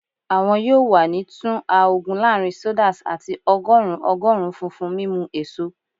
Awọn yoo wa ni tun a ogun laarin sodas ati ọgọrun ogorun funfun mimu eso